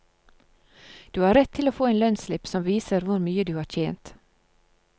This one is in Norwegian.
Du har rett til å få en lønnsslipp som viser hvor mye du har tjent.